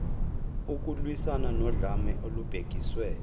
ukulwiswana nodlame olubhekiswe